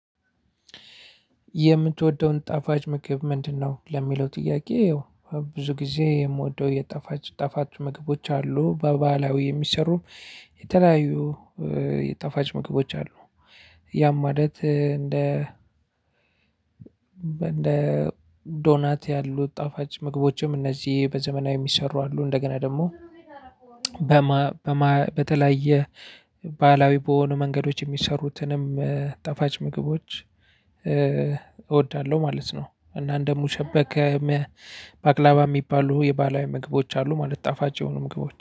የምትወደውን ጣፋጭ ምግብ ምንድ ነው? ለሚለው ጥያቄ ብዙ ጊዜ የምወደው የጠፋች ጠፋች ምግቦች አሉ በባህላዊ የሚሰሩ የተለያዩ የጠፋች ምግቦች አሉ ያም ማለት እንደ በእንደ ዶናት ያሉት ጣፋጭ ምግቦችም እነዚህ በዘመናዊ የሚሰሩ አሉ እንደገና ደግሞ በተለያየ ባህላዊ በሆኑ መንገዶች የሚሰሩትንም ጠፋች ምግቦች እወዳለሁ ማለት ነው። እና እንደሙሸበከም ባቅላባ የሚባሉ የባህላዊ ምግቦች አሉ ማለት ጣፋጭ የሆኑ ምግቦች